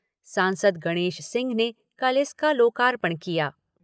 सांसद गणेश सिंह ने कल इसका लोकार्पण किया।